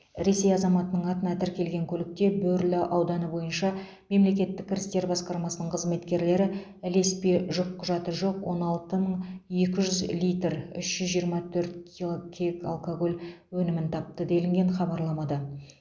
ресей азаматының атына тіркелген көлікте бөрлі ауданы бойынша мемлекеттік кірістер басқармасының қызметкерлері ілеспе жүкқұжаты жоқ он алты мың екі жүз литр үш жүз жиырма төрт кила кег алкоголь өнімін тапты делінген хабарламада